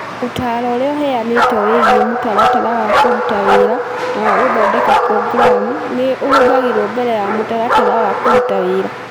Ũtaaro ũrĩa ũheanĩtwo wĩgiĩ mũtaratara wa kũruta wĩra na wa gũthondeka programu nĩ ũhũthagĩrũo mbere ya mũtaratara wa kũruta wĩra.